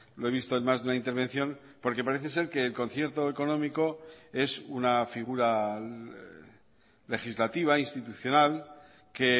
lo he visto en más de una intervención porque parece ser que el concierto económico es una figura legislativa institucional que